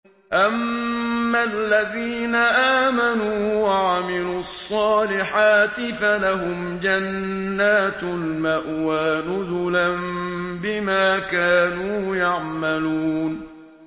أَمَّا الَّذِينَ آمَنُوا وَعَمِلُوا الصَّالِحَاتِ فَلَهُمْ جَنَّاتُ الْمَأْوَىٰ نُزُلًا بِمَا كَانُوا يَعْمَلُونَ